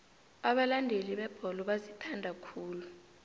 abalandeli bebholo bazithanda khulu